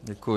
Děkuji.